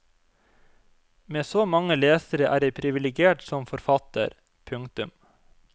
Med så mange lesere er jeg privilegert som forfatter. punktum